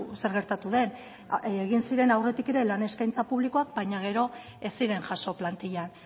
zer gertatu den egin ziren aurretik ere lan eskaintza publikoak baina gero ez ziren jaso plantillan